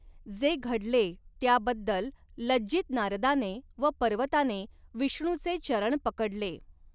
जे घडले त्याबद्दल लज्जित नारदाने व पर्वताने विष्णूचे चरण पकडले.